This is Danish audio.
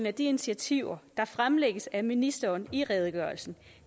af de initiativer der fremlægges af ministeren i redegørelsen